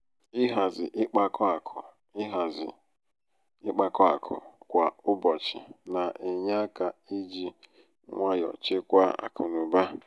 ịhazi ịkpakọ akụ ịhazi ịkpakọ akụ kwa ụbọchị na-enye aka i ji nwayọ chekwaa akụnaụba.